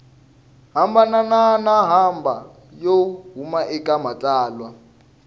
hambanahambana yo huma eka matsalwa